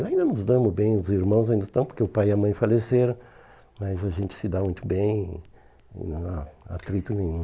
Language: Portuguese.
Ainda nos damos bem os irmãos, porque o pai e a mãe faleceram, mas a gente se dá muito bem, não há atrito nenhum.